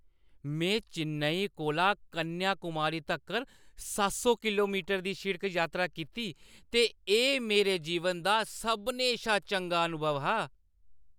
मैं चेन्नई कोला कन्याकुमारी तक्कर सत्त सौ किलोमीटर दी शिड़क यात्रा कीती ते एह् मेरे जीवन दा सभनें शा चंगा अनुभव हा।